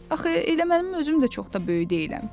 Axı elə mənim özüm də çox da böyük deyiləm.